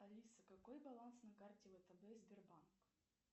алиса какой баланс на карте втб сбербанк